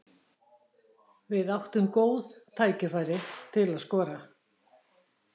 Við áttum góð tækifæri til að skora.